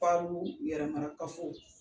Ko alu yɛrɛmara kafow.